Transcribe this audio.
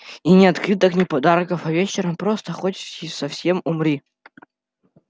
и ни открыток ни подарков а вечером просто хоть совсем умри